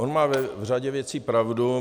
On má v řadě věcí pravdu.